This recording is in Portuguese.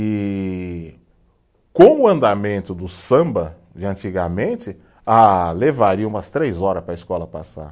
E com o andamento do samba de antigamente, ah, levaria umas três horas para a escola passar.